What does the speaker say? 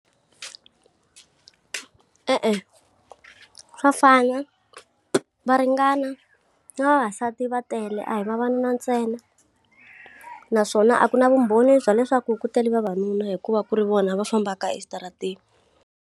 E-e, swa fana, va ringana, na vavasati va tele a hi vavanuna ntsena. Naswona a ku na vumbhoni bya leswaku ku tele vavanuna hikuva ku ri vona va fambaka eswitarateni.